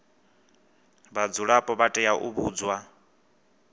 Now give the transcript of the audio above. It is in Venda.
vhadzulapo vha tea u vhudzwa